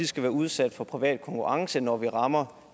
skal være udsat for privat konkurrence når vi rammer